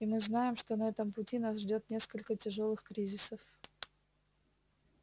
и мы знаем что на этом пути нас ждёт несколько тяжёлых кризисов